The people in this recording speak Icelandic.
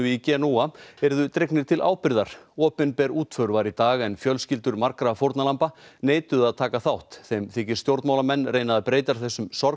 í Genúa yrðu dregnir til ábyrgðar opinber útför var í dag en fjölskyldur margra fórnarlamba neituðu að taka þátt þeim þykir stjórnmálamenn reyna að breyta þessum